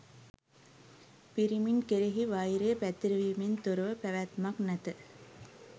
පිරිමින් කෙරෙහි වෛරය පැතිරවීමෙන් තොරව පැවැත්මක් නැත